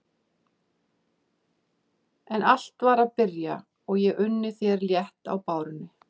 En allt var að byrja og ég unni þér létt á bárunni.